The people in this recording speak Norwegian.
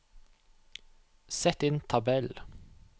Sett inn tabell